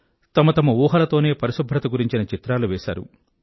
తమ తమ ఊహలతోనే పరిశుభ్రత గురించిన చిత్రాలు వేసారు